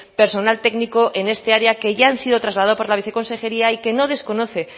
personal técnico en esta área que ya ha sido trasladado por la viceconsejería y que no desconoce